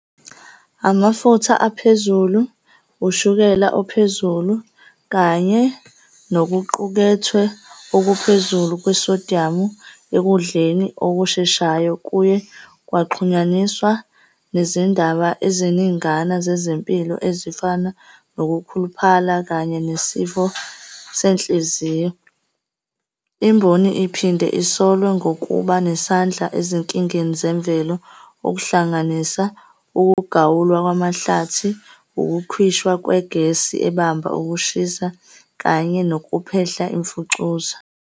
Amafutha aphezulu, ushukela ophezulu kanye nokuqukethwe okuphezulu kwesodiyamu ekudleni okusheshayo kuye kwaxhunyaniswa nezindaba eziningana zezempilo ezifana nokukhuluphala, kanye nesifo senhliziyo. Imboni iphinde isolwe nokuba nesandla ezinkingeni zemvelo, okuhlanganisa ukugawulwa kwamahlathi, ukukhishwa kwegesi ebamba ukushisa kanye nokuphehla imfucuza.